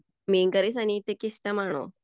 മീൻകറി സനീഷക്ക് ഇഷ്ടമാണോ